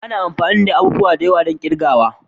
Ana amfani da abubuwa da yawa don kirgawa.